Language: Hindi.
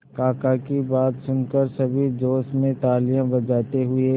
काका की बात सुनकर सभी जोश में तालियां बजाते हुए